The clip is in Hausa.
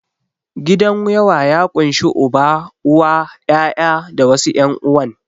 Gidan yawa ya ƙunshi Uba, Uwa, ƴaƴa da wasu ƴan'uwan.